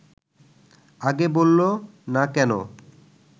আগে বলল না কেন